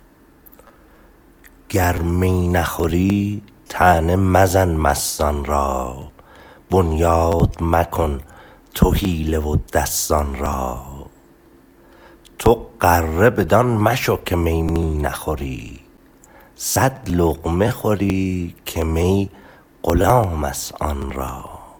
گر می نخوری طعنه مزن مستان را بنیاد مکن تو حیله و دستان را تو غره بدان مشو که می می نخوری صد لقمه خوری که می غلام است آن را